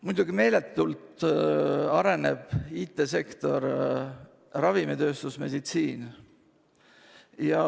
Muidugi, meeletult arenevad IT-sektor, ravimitööstus ja meditsiin.